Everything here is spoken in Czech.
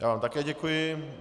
Já vám také děkuji.